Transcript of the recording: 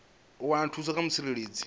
u wana thuso kha mutsireledzi